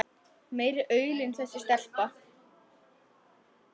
Meiri aulinn þessi stelpa.